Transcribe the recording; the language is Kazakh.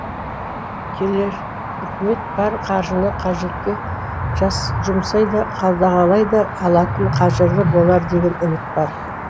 келер үкімет бар қаржыны қажетке жұмсай да қадағалай да алатын қажырлы болар деген үміт бар